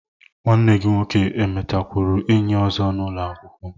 Nwanne gi nwoke enwetakwuru enyi ozo n'ulo akwukwo